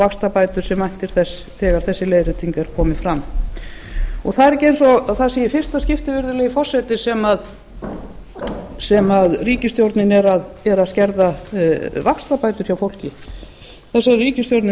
vaxtabætur sem væntir þess þegar þessi leiðrétting er komin fram það er ekki eins og það sé í fyrsta skipti virðulegi forseti sem ríkisstjórnin er að skerða vaxtabætur hjá fólki þessari ríkisstjórn er